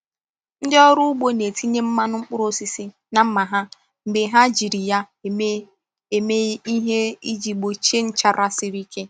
Ndị ọrụ ugbo na-etinye mmanụ mkpụrụ osisi na mma ha mgbe ha jiri ya eme eme ihe iji gbochie nchara siri ike.